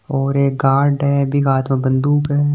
और एक गार्ड है बी का हाथ मे बंदूक है।